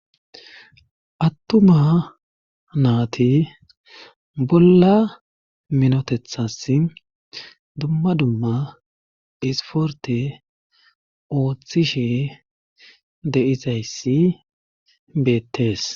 attuma naati bolla minotethas dumma dumma isporte ooththishe deizayssi beettees